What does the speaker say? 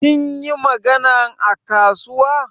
Kin yi maganan a kasuwa?